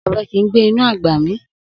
Obe ki gbe inu agba mi.